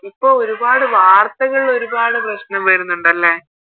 ഇപ്പൊ ഒരുപാട് വാര്ത്തകളില് ഒരുപാട് പ്രശ്നം വേറുന്നുണ്ടല്ലേ